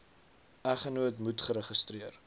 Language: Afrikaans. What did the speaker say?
eggenoot moet geregistreer